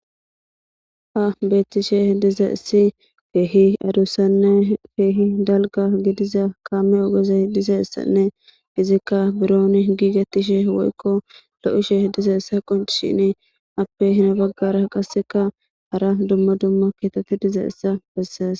Ha betishe dizaysi kehi adusane kehi dalga gidiza kame ogezi dizaysane izika buron gigishe dizaysa woyko lo'ishe dizaysa qoncishin qaseka afe heni bagara dumma dumma kethati dizaysa beses